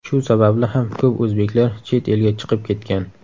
Shu sababli ham ko‘p o‘zbeklar chet elga chiqib ketgan.